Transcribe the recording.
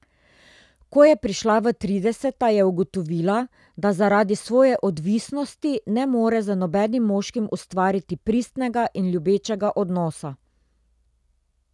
Ko je prišla v trideseta je ugotovila, da zaradi svoje odvisnosti ne more z nobenim moškim ustvariti pristnega in ljubečega odnosa.